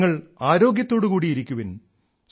നിങ്ങൾ ആരോഗ്യത്തോടു കൂടി ഇരിക്കുവിൻ